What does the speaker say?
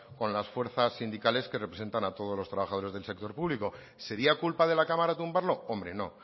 con las fuerzas sindicales que representan a todos los trabajadores del sector público sería culpa de la cámara tumbarlo hombre no